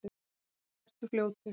Og vertu fljótur.